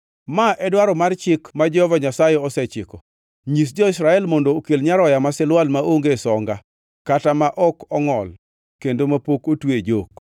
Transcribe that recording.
“Ma e dwaro mar chik ma Jehova Nyasaye osechiko: Nyis jo-Israel mondo okel nyaroya ma silwal maonge songa kata ma ok ongʼol kendo mapok otwe e jok.